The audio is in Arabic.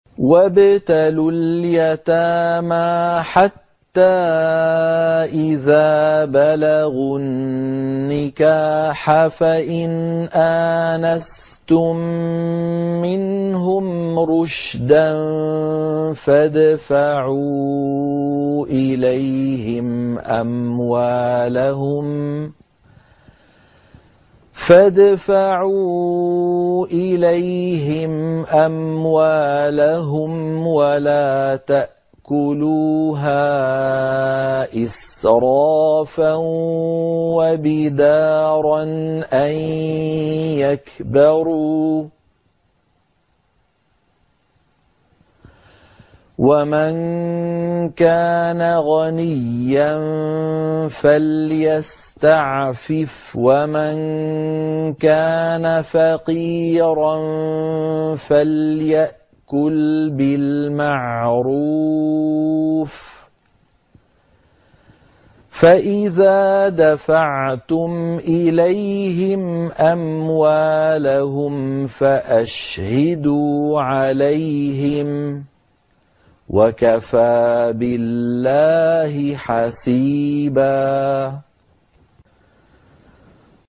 وَابْتَلُوا الْيَتَامَىٰ حَتَّىٰ إِذَا بَلَغُوا النِّكَاحَ فَإِنْ آنَسْتُم مِّنْهُمْ رُشْدًا فَادْفَعُوا إِلَيْهِمْ أَمْوَالَهُمْ ۖ وَلَا تَأْكُلُوهَا إِسْرَافًا وَبِدَارًا أَن يَكْبَرُوا ۚ وَمَن كَانَ غَنِيًّا فَلْيَسْتَعْفِفْ ۖ وَمَن كَانَ فَقِيرًا فَلْيَأْكُلْ بِالْمَعْرُوفِ ۚ فَإِذَا دَفَعْتُمْ إِلَيْهِمْ أَمْوَالَهُمْ فَأَشْهِدُوا عَلَيْهِمْ ۚ وَكَفَىٰ بِاللَّهِ حَسِيبًا